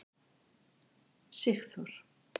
Sigþór